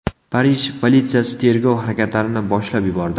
Parij politsiyasi tergov harakatlarini boshlab yubordi.